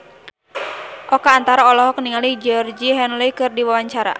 Oka Antara olohok ningali Georgie Henley keur diwawancara